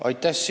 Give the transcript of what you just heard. Aitäh!